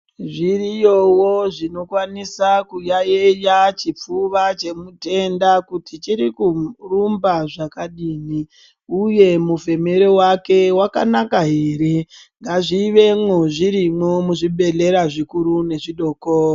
Zviriyowo zvinokwanisa kuyayeya chipfuva chemutenda kuti chiri kurumba zvakadini uye mufemere wake wakanaka ere ngazviemo zvirimo muzvibhehleya zvikuru nezvidoko.